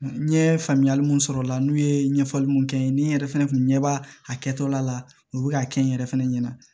N ye faamuyali mun sɔrɔ o la n'u ye ɲɛfɔli mun kɛ n ye ni n yɛrɛ fɛnɛ kun ɲɛ b'a a kɛtɔla la u bɛ ka kɛ n yɛrɛ fɛnɛ ɲɛna